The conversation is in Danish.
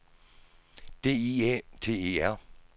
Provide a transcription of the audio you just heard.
D I Æ T E R